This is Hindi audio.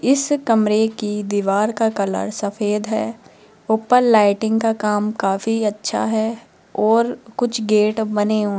इस कमरे की दीवार का कलर सफेद है ऊपर लाइटिंग का काम काफी अच्छा है और कुछ गेट बने --